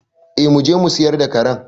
Eh muje mu siyar da karen.